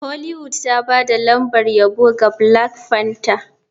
Hollywood ta ba da lambar yabo ga black panther.